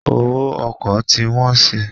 Owó ọkọ̀ ti wọ́n si.